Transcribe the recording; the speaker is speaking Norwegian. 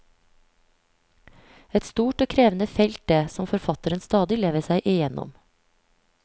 Et stort og krevende felt det, som forfatteren stadig lever seg igjennom.